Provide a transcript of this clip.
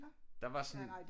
Der var sådan